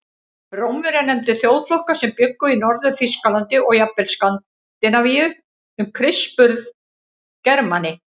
Rómverjar nefndu þjóðflokka sem bjuggu í Norður-Þýskalandi og jafnvel Skandinavíu um Krists burð Germani.